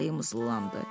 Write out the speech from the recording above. Ayımız zırılandı.